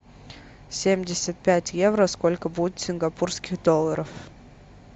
семьдесят пять евро сколько будет в сингапурских долларах